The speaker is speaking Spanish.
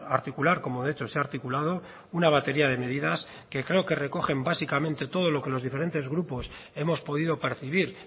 articular como de hecho se ha articulado una batería de medidas que creo que recogen básicamente todo lo que los diferentes grupos hemos podido percibir